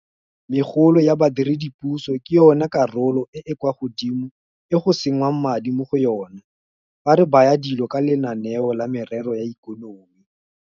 Megolo ya badiredipuso ke yona karolo e e kwa godimo e go sengwang madi mo go yona fa re baya dilo ka lenaneo la merero ya ikonomi.